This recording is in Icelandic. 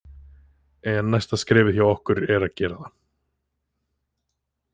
En næsta skrefið hjá okkur er að gera það.